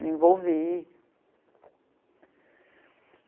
Me envolvi.